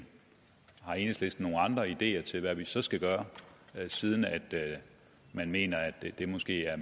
har enhedslisten nogle andre ideer til hvad vi så skal gøre siden man mener at det måske er